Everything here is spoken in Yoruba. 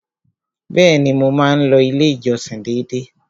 Bẹ́ẹ̀ni, mo máa ń lọ ilé ìjọsìn dédé.